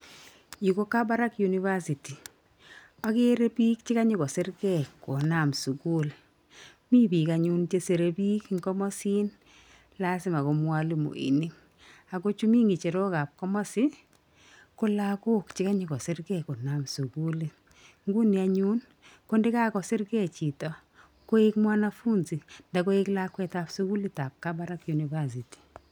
Yu ko Kabarak university. Akere bik chekanyokosirgei konam sukul. Mi bik anyun chesirei bik eng komasin lazima ko mwalimoinik, ako chemi ng'echerokab komasi ko lakok chekanyokosirgei konam sukulit. Nguni anyun ko yekakosirgei chito koek mwanafunzi nda koek lakwetab sukulitab Kabarak university